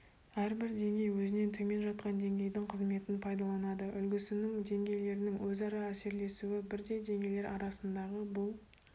әрбір деңгей өзінен төмен жатқан деңгейдің қызметін пайдаланады үлгісінің деңгейлерінің өзара әсерлесуі бірдей деңгейлер арасындағы бұл